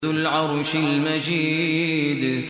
ذُو الْعَرْشِ الْمَجِيدُ